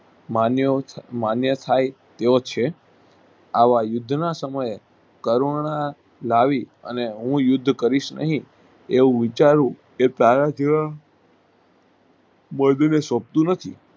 મન્યથાય એવોછે આવાયુદ્ધના સમયે કરુણા લાવી હું યુદ્ધ કરીશ નહિ એવું વિચારવું શકતું નથી